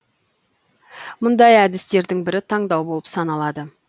мұндай әдістердің бірі таңдау болып саналады